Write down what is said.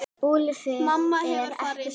Mamma hefur farið í sturtu.